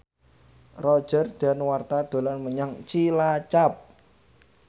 Roger Danuarta dolan menyang Cilacap